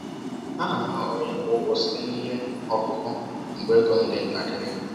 A na m ahọrọ ịkwụ ụgwọ site na ihe ọkụkụ mgbe ego m dị ntakịrị